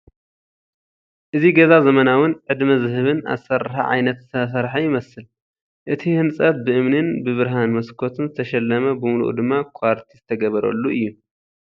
እቲ ገዛ ዘመናውን ዕድመ ዝህብን ኣሰራርሓ ዓየነት ዝተሰርሐ ይመስል። እቲ ህንፀት ብእምኒን ብብርሃን መስኮትን ዝተሸለመ ብሙሉኡ ድማ ኳርቲዝ ዝተገበረሉ እዩ።